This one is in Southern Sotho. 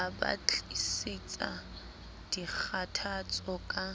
a ba tlisetsa dikgathatso ka